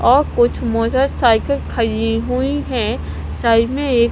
और कुछ मोटरसाइकिल खड़ी हुई है साइड में एक--